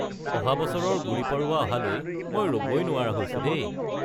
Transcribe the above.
অহা বছৰৰ গুড়ী পড়ৱা অহালৈ মই ৰ'বই নোৱাৰা হৈছো দেই।